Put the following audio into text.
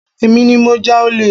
Èmi ní mo ja ole